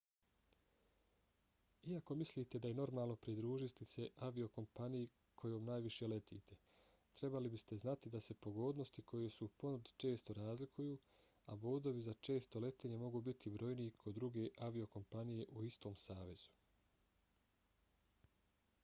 iako mislite da je normalno pridružiti se aviokompaniji kojom najviše letite trebali biste znati da se pogodnosti koje su u ponudi često razlikuju a bodovi za često letenje mogu biti brojniji kod druge aviokompanije u istom savezu